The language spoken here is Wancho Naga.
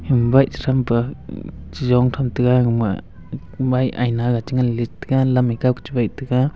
um bike chretham pa um cheyong tham taiga egama bike ga chengan leit taiga lam e kaw chuwaihtaiga.